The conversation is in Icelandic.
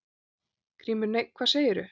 GRÍMUR: Nei, hvað segirðu?